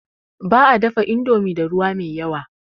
Ba a dafa indomi da ruwa mai yawa.